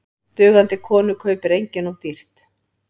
Dugandi konu kaupir enginn of dýrt.